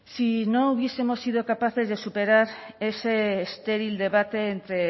si no hubiesemos sido capaces de superar ese estéril debate entre